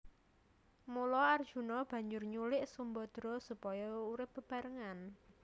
Mula Arjuna banjur nyulik Sumbadra supaya bisa urip bebarengan